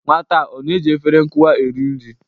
Nwata a ọ na-eji efere nkụwa eri nri?